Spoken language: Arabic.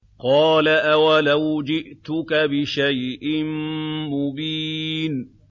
قَالَ أَوَلَوْ جِئْتُكَ بِشَيْءٍ مُّبِينٍ